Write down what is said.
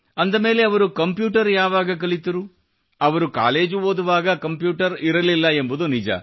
ಅಂದ ಮೇಲೆ ಅವರು ಕಂಪ್ಯೂಟರ್ ಯಾವಾಗ ಕಲಿತರು ಅವರು ಕಾಲೇಜು ಓದುವಾಗ ಕಂಪ್ಯೂಟರ್ ಇರಲಿಲ್ಲ ಎಂಬುದು ನಿಜ